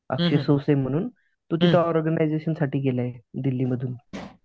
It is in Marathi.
म्हणून तो त्यांच्या ऑर्गनायजेशन साठी गेलाय दिल्लीमधून.